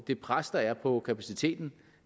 det pres der er på kapaciteten